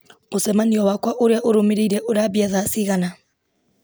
mũcemanio wakwa ũrĩa ũrũmĩrĩire urambia thaa cigana